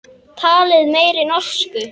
Talið meiri norsku.